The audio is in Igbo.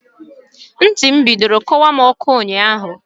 Ntị m bidoro kọwa m ọkọ ụnyaahụ.